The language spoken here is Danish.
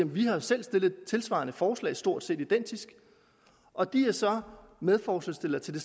vi har selv stillet et tilsvarende forslag stort set identisk og de er så medforslagsstillere til det